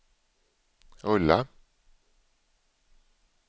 rulla